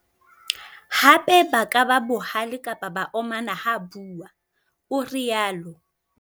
"Hape ba ka ba bohale kapa ba omana ha bua," o rialo.